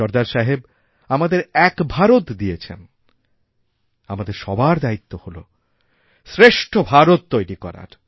সর্দার সাহেব আমাদের এক ভারতদিয়েছেন আমাদের সবার দায়িত্ব হল শ্রেষ্ঠ ভারত তৈরি করার